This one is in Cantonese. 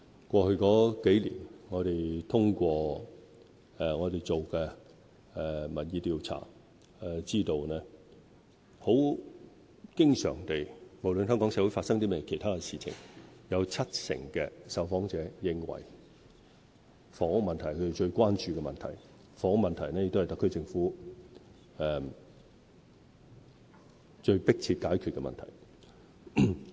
過去數年，我們通過所做的民意調查得知，無論香港社會發生甚麼其他事情，經常有七成受訪者認為房屋問題是他們最關注的問題，而房屋問題亦是特區政府最迫切要解決的問題。